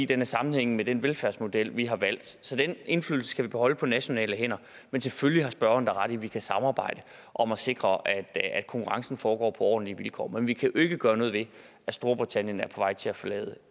den er sammenhængende med den velfærdsmodel vi har valgt så den indflydelse skal vi beholde på nationale hænder men selvfølgelig har spørgeren da ret i at vi kan samarbejde om at sikre at konkurrencen foregår på ordentlige vilkår men vi kan jo ikke gøre noget ved at storbritannien er på vej til at forlade